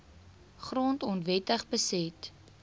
grond onwettig beset